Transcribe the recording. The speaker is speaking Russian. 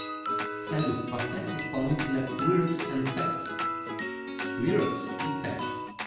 салют поставь исполнителя квирокс энд фэкс квирокс и фэкс